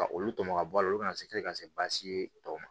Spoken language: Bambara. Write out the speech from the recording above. Ka olu tɔmɔ ka bɔ a la olu kana se ka se baasi ye tɔ ma